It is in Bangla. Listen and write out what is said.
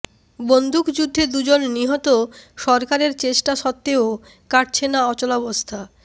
বন্দুকযুদ্ধে দুজন নিহত সরকারের চেষ্টা সত্ত্বেও কাটছে না অচলাবস্থা